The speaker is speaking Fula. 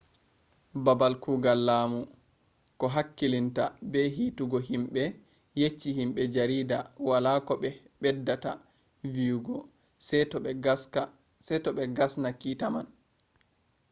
babal kugal lamu ko hakkilinta be hitugo himbe, yecci himbe jarida wala ko be beddata viyugo se to be gasna kita man